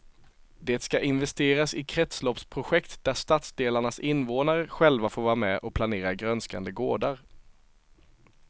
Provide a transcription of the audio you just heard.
Det ska investeras i kretsloppsprojekt där stadsdelarnas invånare själva får vara med och planera grönskande gårdar.